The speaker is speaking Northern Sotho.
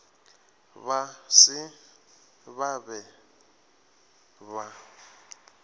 ba se ba be ba